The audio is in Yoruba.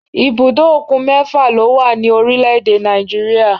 Ibùdó òkun mẹ́fà ló wà ní orílẹ̀-èdè Nàìjíríyà